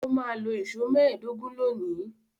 Ó máa lo ìṣó mẹ́ẹ̀dógún lónìí.